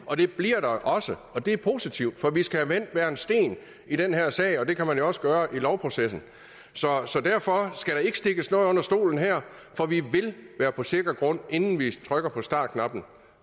og det bliver der også og det er positivt for vi skal have vendt hver en sten i den her sag og det kan man jo også gøre i lovprocessen så så derfor skal der ikke stikkes noget under stolen her for vi vil være på sikker grund inden vi trykker på startknappen